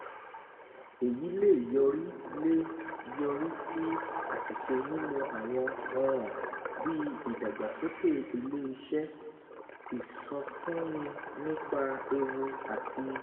Èyí lè yọrí lè yọrí sí àṣìṣe nínú àwọn ọ̀ràn bí ìdàgbàsókè ilé iṣẹ́, ìsọfúnni nípa ewu àti